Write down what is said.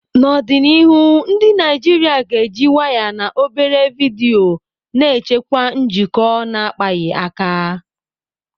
N'ọdịnihu, ndị Naijiria ga-eji waya na obere vidiyo na-echekwa njikọ na-akpaghị aka.